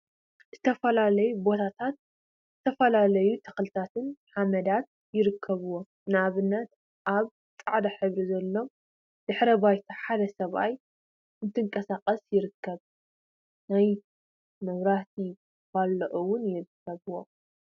ዝተፈላለዩ ቢታታት ዝተፈላለዩ ተክልታትን ሓመዳት ይርከቡዎም፡፡ ንአብነት አብ ፃዕዳ ሕብሪ ዘለዎ ድሕረ ባይታ ሓደ ሰብአይ እናተንቀሳቀሰ ይርከብ፡፡ ናይ መብራህቲ ፓሎታት እውን ይርከቡዎም፡፡